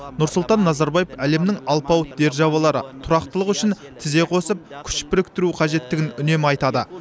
нұрсұлтан назарбаев әлемнің алпауыт державалары тұрақтылық үшін тізе қосып күш біріктіру қажеттігін үнемі айтады